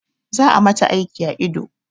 Za a mata aiki a ido